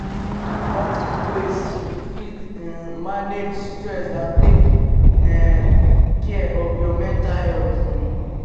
practice ways to fit um manage stress and take care um of your mental health um